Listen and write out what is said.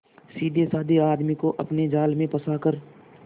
सीधेसाधे आदमी को अपने जाल में फंसा कर